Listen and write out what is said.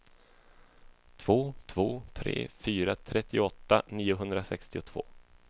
två två tre fyra trettioåtta niohundrasextiotvå